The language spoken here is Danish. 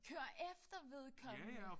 Køre efter vedkommende?